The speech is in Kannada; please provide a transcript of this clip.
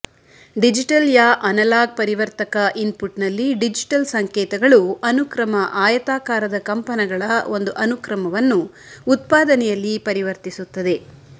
ಡಿಜಿಟಲ್ ಯಾ ಅನಲಾಗ್ ಪರಿವರ್ತಕ ಇನ್ಪುಟ್ ನಲ್ಲಿ ಡಿಜಿಟಲ್ ಸಂಕೇತಗಳು ಅನುಕ್ರಮ ಆಯತಾಕಾರದ ಕಂಪನಗಳ ಒಂದು ಅನುಕ್ರಮವನ್ನು ಉತ್ಪಾದನೆಯಲ್ಲಿ ಪರಿವರ್ತಿಸುತ್ತದೆ